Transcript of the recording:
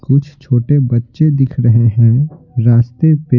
कुछ छोटे बच्चे दिख रहे हैं रास्ते पे--